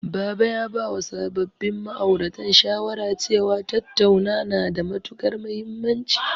Baba ya bawa sababbin ma'auratan shawara cewa, tattauna na da matuƙar mahimmanci.